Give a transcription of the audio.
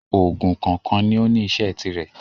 Òògùn kọ̀ọ̀kan ní ó ní iṣẹ́ tirẹ̀